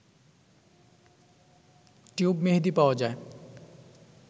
tube মেহেদি পাওয়া যায়